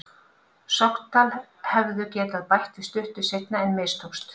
Sogndal hefðu getað bætt við stuttu seinna en mistókst.